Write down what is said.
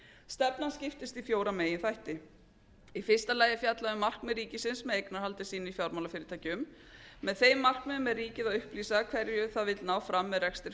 stefnan skiptist í fjóra meginþætti í fyrsta lagi er fjallað um markmið ríkisins með eignarhaldi sínu í fjármálafyrirtækjum með þeim markmiðum er ríkið að upplýsa hverju það vill ná fram með rekstri fjármálafyrirtækja